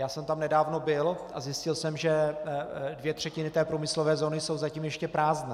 Já jsem tam nedávno byl a zjistil jsem, že dvě třetiny té průmyslové zóny jsou zatím ještě prázdné.